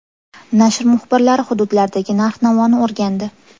Nashr muxbirlari hududlardagi narx-navoni o‘rgandi.